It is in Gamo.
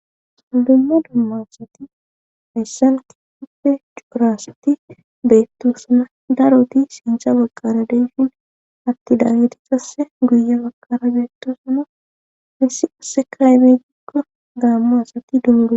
suuldumma dummancshati issan ki puppe cuurasatti beetto suna daroti sintha baqara deyshin atti daagiti sasse guya baqara beetto suna missi asse kaybe gikko gaamma asatti dunude